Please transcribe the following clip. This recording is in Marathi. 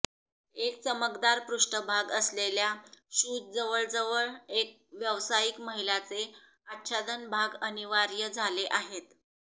एक चमकदार पृष्ठभाग असलेल्या शूज जवळजवळ एक व्यवसायिक महिला चे आच्छादन भाग अनिवार्य झाले आहेत